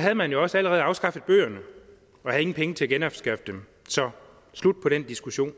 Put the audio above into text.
havde man jo også allerede afskaffet bøgerne og havde ingen penge til at genanskaffe dem så slut på den diskussion